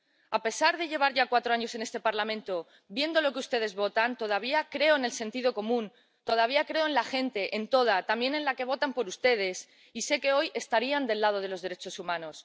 A pesar de llevar ya cuatro años en este Parlamento viendo lo que ustedes votan, todavía creo en el sentido común, todavía creo en la gente, en toda —también en la que vota por ustedes— y sé que hoy estarían del lado de los derechos humanos.